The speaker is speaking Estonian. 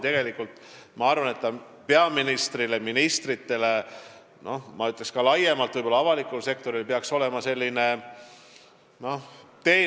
Tegelikult peaks see olema peaministrile ja ministritele ning ka laiemalt avalikule sektorile teenäitaja.